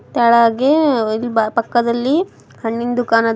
ಕೆಳಗೆ ಇಲ್- ಬ-ಪಕ್ಕದಲ್ಲಿ ಹಣ್ಣಿನ್ ದುಕಾನ ಅದ ಮು--